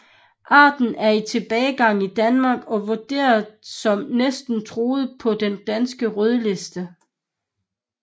Arten er i tilbagegang i Danmark og vurderet som Næsten truet på Den danske rødliste